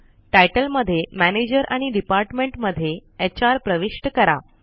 तितले मध्ये मॅनेजर आणि डिपार्टमेंट मध्ये एचआर प्रविष्ट करा